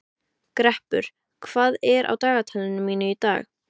Greppur, hvað er á dagatalinu mínu í dag?